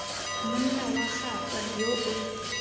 monna wa gagwe yo o